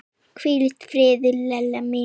Hvíl í friði, Lella mín.